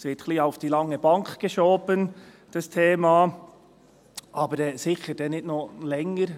Dieses Thema wird ein wenig auf die lange Bank geschoben – aber sicher dann nicht noch länger.